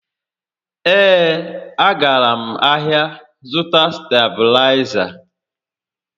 Ee, a gara m ahịa zụta stabịlaịza